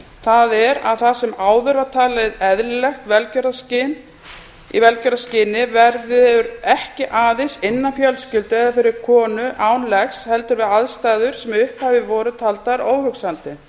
það er það sem áður var talið eðlilegt í velgjörðarskyni verður ekki aðeins innan fjölskyldu eða fyrir konu án leggur heldur við aðstæður sem í upphafi voru taldar óhugsandi